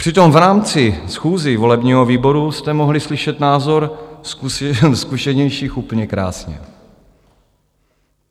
Přitom v rámci schůzí volebního výboru jste mohli slyšet názor zkušenějších úplně krásně.